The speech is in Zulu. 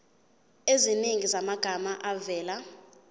eziningi zamagama avela